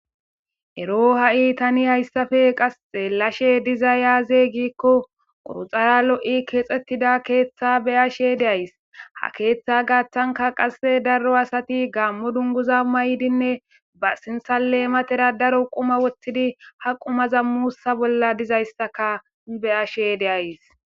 ero ha7i tani hayssafe qasxe lashe diza yaaze gikko quruxara lo7i keexxettida keeththa beyashe deays ha keeththa gaaththanka qasse daro asati gaammo dunguza maydinne ba sinsaleematera daro quma wottidi haqumaza muussa bolla dizayssaka beyashe deyas